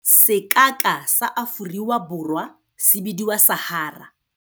Sekaka sa Aforiwa Borwa se bidiwa Sahara.